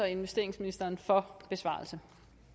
investeringsministerens besvarelse